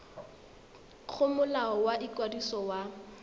go molao wa ikwadiso wa